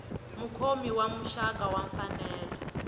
mukhomi wa muxaka wa mfanelo